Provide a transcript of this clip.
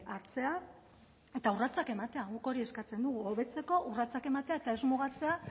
hartzea eta urratsak ematea guk hori eskatzen dugu hobetzeko urratsak ematea eta ez mugatzea